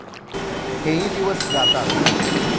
हेही दिवस जातात.